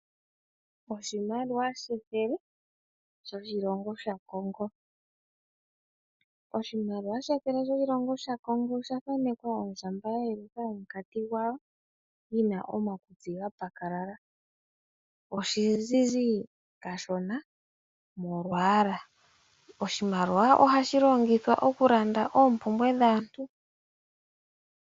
Oshimaliwa shethele shoshilongo shaCongo. Oshimaliwa shethele shoshilongo shaCongo osha thanekwa ondjamba ya yelutha omunkati gwawo yi na omakutsi ga pakalala. Oshizizi kashona molwaala. Oshimaliwa ohashi longithwa okulanda oompumbwe dhaantu.